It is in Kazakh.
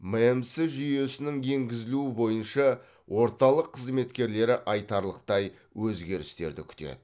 мәмс жүйесінің енгізілуі бойынша орталық қызметкерлері айтарлықтай өзгерістерді күтеді